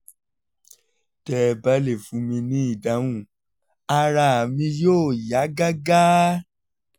tẹ́ ẹ bá lè fún mi ní ìdáhùn ara mi yóò yá gágá